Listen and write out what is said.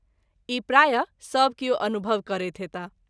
ई प्राय: सभ किओ अनुभव करैत होएताह।